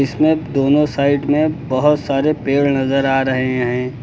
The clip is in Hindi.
इसमें दोनों साइड में बहुत सारे पेड़ नजर आ रहे हैं।